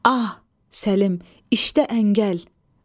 Ah, Səlim, işdə əngəl.